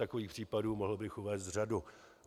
Takových případů bych mohl uvést řadu.